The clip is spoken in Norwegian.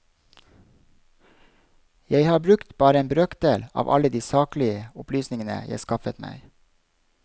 Jeg har brukt bare en brøkdel av alle de saklige opplysningene jeg skaffet meg.